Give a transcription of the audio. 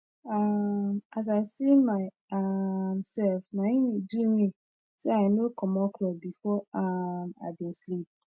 um as i see my um sef naim e do me say i nor comot cloth before um i bin sleep